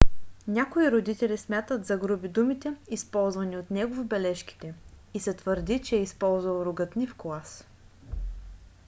някои родители смятат за груби думите използвани от него в бележките и се твърди че е използвал ругатни в клас